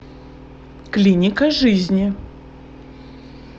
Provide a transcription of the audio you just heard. клиника жизни